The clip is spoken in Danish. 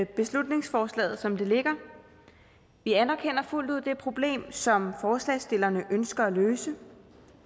beslutningsforslaget som det ligger vi anerkender fuldt ud det problem som forslagsstillerne ønsker at løse